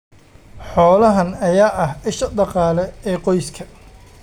Xoolahan ayaa ah isha dhaqaale ee qoyska.